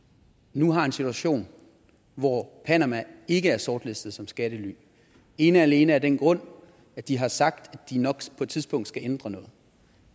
nu har en situation hvor panama ikke er sortlistet som skattely ene og alene af den grund at de har sagt at de nok på et tidspunkt skal ændre noget